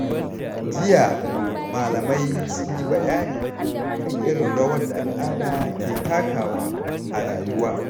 Jiya, malamai sun yi bayani kan irin rawar da al’ada ke takawa a rayuwa.